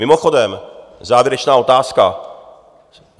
Mimochodem, závěrečná otázka.